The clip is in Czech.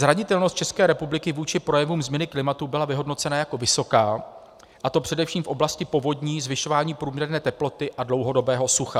Zranitelnost České republiky vůči projevům změny klimatu byla vyhodnocena jako vysoká, a to především v oblasti povodní, zvyšování průměrné teploty a dlouhodobého sucha.